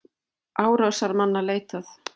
Árásarmanna leitað